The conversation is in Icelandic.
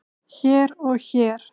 hér og hér.